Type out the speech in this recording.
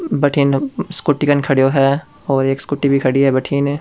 भटीने स्कूटी कन खड़ो है और एक स्कूटी भी खड़ी है भटीने --